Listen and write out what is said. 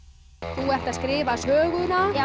þú ert að skrifa söguna já